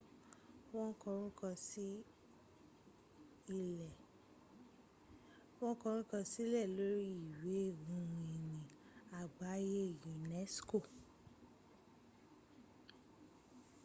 wo koruko won sile lori iwe ohun-ini agbaye unesc